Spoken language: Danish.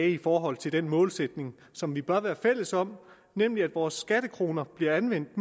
i forhold til den målsætning som vi bør være fælles om nemlig at vores skattekroner bliver anvendt